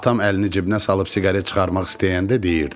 Atam əlini cibinə salıb siqaret çıxarmaq istəyəndə deyirdi.